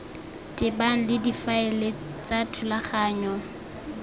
tebang le difaele tsa thulaganyo